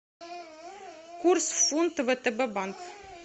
курс фунта втб банк